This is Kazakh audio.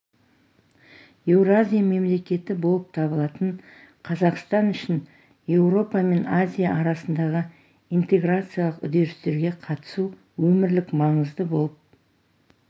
еуразия мемлекеті болып табылатын қазақстан үшін еуропа мен азия арасындағы интеграциялық үдерістерге қатысу өмірлік маңызды болып